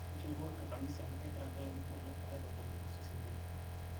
njopo enkamisi amuu kegira nkilani inonok aitodolo osesen lino